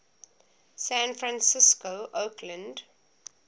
san francisco oakland